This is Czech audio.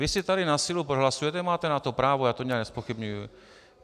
Vy si tady na sílu prohlasujete - máte na to právo, já to nijak nezpochybňuji.